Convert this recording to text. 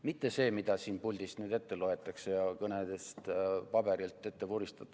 Mitte seda, mida siit puldist nüüd ette loetakse ja kõnedes paberilt ette vuristatakse.